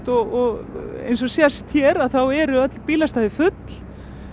og eins og sést hér eru öll bílastæði full